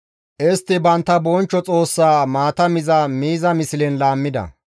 Istti bantta bonchcho Xoossaa maata miza miiza mislen laammida.